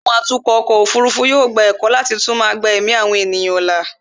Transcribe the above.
àwọn atukọ̀ ọkọ̀ òfurufú yóò gba ẹ̀kọ́ láti túmọ̀ gba ẹ̀mí àwọn ènìyàn là